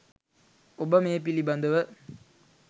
ඔබ මේ පිළිබඳව